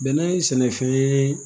Bɛnɛ sɛnɛfɛn ye